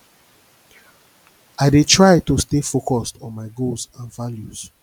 i dey try to stay focused on my goals and values